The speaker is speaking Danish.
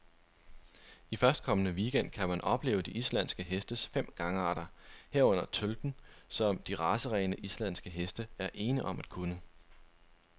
I førstkommende weekend gang kan man opleve de islandske hestes fem gangarter, herunder tølten, som de racerene, islandske heste er ene om at kunne.